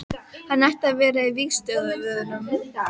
Hann ætti að vera á vígstöðvunum.